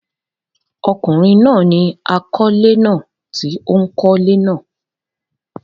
ọkùnrin náà ni àkọ́lé náà tí ó kọ́lé náà.